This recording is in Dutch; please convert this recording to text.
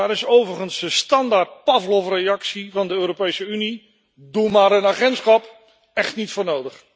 Daar is overigens de standaard pavlovreactie van de Europese Unie doe maar een agentschap echt niet voor nodig.